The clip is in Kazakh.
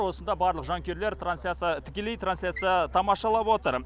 осында барлық жанкүйерлер трансляция тікелей тансляция тамашалап отыр